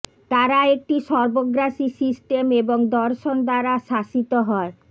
তারা একটি সর্বগ্রাসী সিস্টেম এবং দর্শন দ্বারা শাসিত হয়